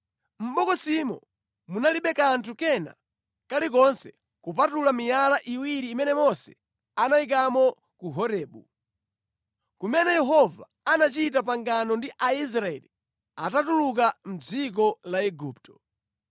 Mʼbokosimo munalibe kanthu kena kalikonse kupatula miyala iwiri imene Mose anayikamo ku Horebu, kumene Yehova anachita pangano ndi Aisraeli atatuluka mʼdziko la Igupto.